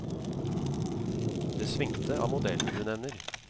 Det svingte av modellen du nevner.